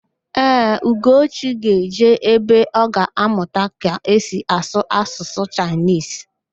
Ee, Ugochi ga-eje ebe ọ ga-amụta ka esi asụ Asụsụ Chaịnisi